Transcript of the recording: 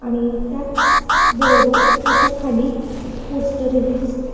आणि त्याच बरोबर त्याच्या खाली एक पोस्टर ही दिसतय.